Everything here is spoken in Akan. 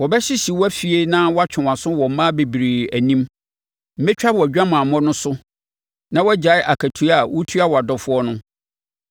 Wɔbɛhyehye wʼafie na wɔatwe wʼaso wɔ mmaa bebree anim. Mɛtwa wʼadwamammɔ no so na woagyae akatua a wotua wʼadɔfoɔ no.